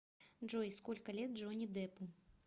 джой сколько лет джонни деппу